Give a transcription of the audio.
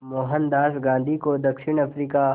मोहनदास गांधी को दक्षिण अफ्रीका